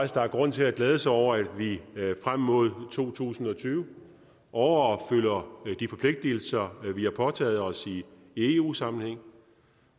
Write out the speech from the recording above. der er grund til at glæde sig over at vi frem mod to tusind og tyve overopfylder de forpligtelser vi har påtaget os i eu sammenhæng